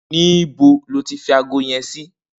Nibó ló fi àgó yèn si?